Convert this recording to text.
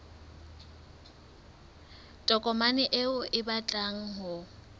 tokomane eo o batlang ho